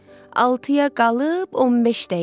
Altıya qalıb 15 dəqiqə.